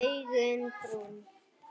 Augun brún.